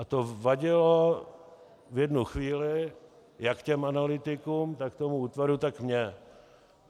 A to vadilo v jednu chvíli jak těm analytikům, tak tomu útvaru, tak mně.